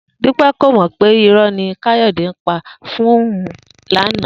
Dúpé̩ kò mò̩ pé iró̩ ni Káyò̩dé ń pa fún òun lánàá